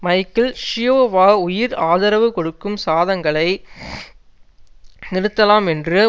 Michael Schiavo உயிர் ஆதரவு கொடுக்கும் சாதங்களை நிறுத்தலாம் என்று